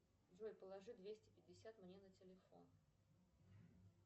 джой положи двести пятьдесят мне на телефон